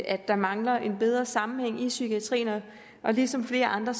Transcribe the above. at der mangler en bedre sammenhæng i psykiatrien ligesom flere andre